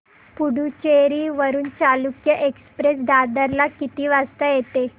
पुडूचेरी वरून चालुक्य एक्सप्रेस दादर ला किती वाजता येते